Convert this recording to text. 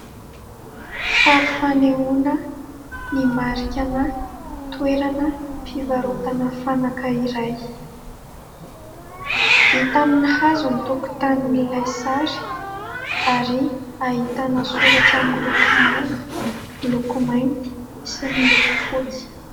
Sary fanehoana ny marikan'ny toerana fivarotana fanaka iray. Vita amin'ny hazo ny tokotanin'ilay sary, ary ahitana soratra miloko manga, miloko mainty, sy miloko fotsy.